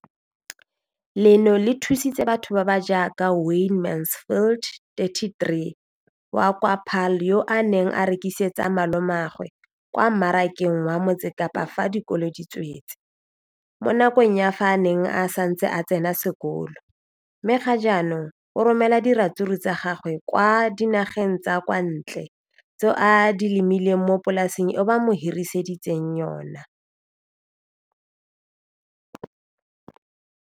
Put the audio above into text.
Leno le thusitse batho ba ba jaaka Wayne Mansfield, 33, wa kwa Paarl, yo a neng a rekisetsa malomagwe kwa Marakeng wa Motsekapa fa dikolo di tswaletse, mo nakong ya fa a ne a santse a tsena sekolo, mme ga jaanong o romela diratsuru tsa gagwe kwa dinageng tsa kwa ntle tseo a di lemileng mo polaseng eo ba mo hiriseditseng yona.